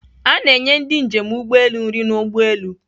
A na-enye ndị njem ụgbọelu nri n'ụgbọelu.